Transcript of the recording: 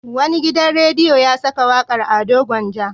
Wani gidan rediyo ya saka wakar Ado Gwanja.